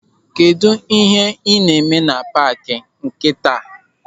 Kedụ ihe n'ime na paaki nkịta?